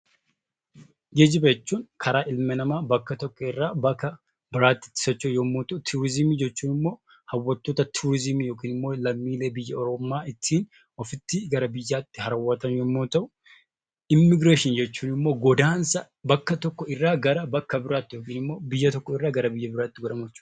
Geejjiba jechuun karaa ilmi namaa bakka tokko irraa bakka biraatti itti socho'u yommuu ta'u, turizimii jechuun immoo hawwattoota turizimii (lammiilee biyya ormaa) ittiin ofitti gara biyyaatti hawwatan yommuu ta'u, Immigireeshin jechuun immoo godaansa bakka tokko irraa gara bakka biraatti (biyya tokko irraa gara biyya biraatti) godhamu jechuu dha.